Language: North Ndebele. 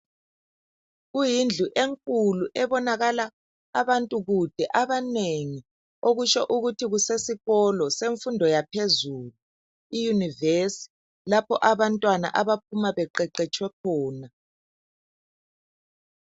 Kuyindlu enkulu ebonakala abantu kude, abanengi okutsho ukuthi kusesikolo semfundo yaphezulu inyuvesi lapho abantwana abaphuma beqeqetshwe khona.